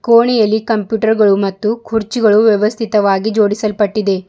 ಕೋಣಿಯಲ್ಲಿ computer ಗಳು ಮತ್ತು ಕುರ್ಚಿಗಳು ವ್ಯವಸ್ಥಿತವಾಗಿ ಜೋಡಿಸಲ್ಪಟ್ಟಿದೆ.